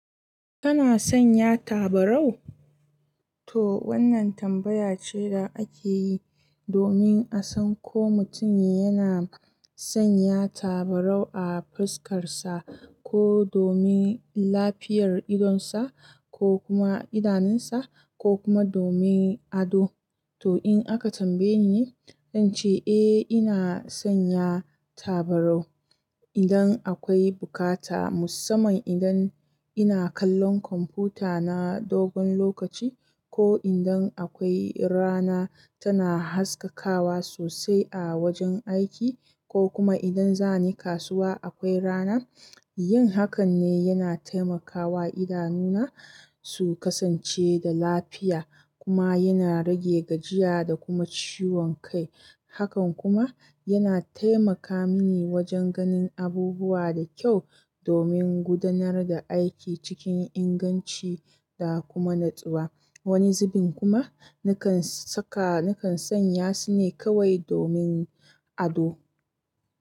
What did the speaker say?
Kana sanya tabarau? To wannan tambaya ce da ake yi domin a san ko mutum yana sanya tabarau a fuskar sa, ko domin lafiyar idon sa, ko kuma idanun sa, ko kuma domin ado. To in aka tambaye ni, zan ce eh ina sanya tabarau idan akwai bukata, musamman idan ina kallon kwamfuta na dogon lokaci, ko idan akwai rana tana haskakawa sosai a wajen aiki, ko kuma idan zani kasuwa akwai rana. Yin hakan ne yana taimakawa idanuna su kasance da lafiya kuma yana rage gajiya da kuma ciwon kai. Hakan kuma yana taimaka mani wajen ganin abubuwa dakyau domin gudanar da aiki cikin inganci da kuma natsuwa. Wani zubin kuma nakan saka, nakan sanya su ne kawai domin ado.